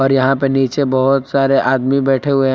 यहां पे नीचे बहुत सारे आदमी बैठे हुए--